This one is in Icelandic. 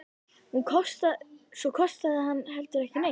Og svo kostaði hann heldur ekki neitt!